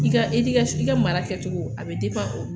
I ka edikasɔn i ka mara kɛcogo a be depan olu